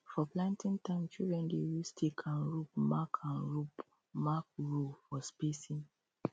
for planting time children dey use stick and rope mark and rope mark row for spacing